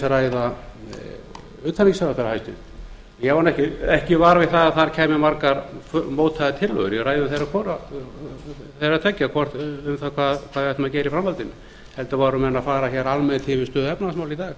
ræða utanríkisráðherra hæstvirtur ég varð ekki var við að þar kæmu margar mótaðar tillögur í ræðum þeirra hvorugra um það hvað við ættum að gera í framhaldinu heldur voru menn að fara hér almennt yfir stöðu